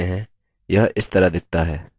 इसे normal view कहा जाता है